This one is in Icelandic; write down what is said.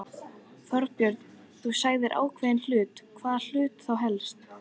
Þorbjörn: Þú sagðir ákveðnir hlutir, hvaða hluti þá helst?